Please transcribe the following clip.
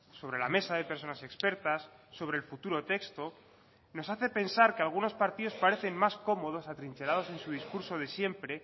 sobre la mesa de personas expertas sobre el futuro texto nos hace pensar que algunos partidos parecen más cómodos atrincherados en su discurso de siempre